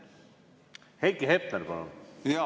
Heiki Hepner, palun!